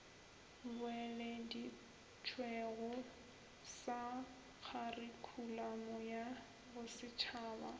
boeleditšwego sa kharikhulamo ya bosetšhaba